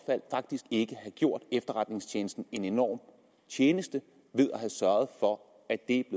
faktisk ikke have gjort efterretningstjenesten en enorm tjeneste ved at have sørget for at det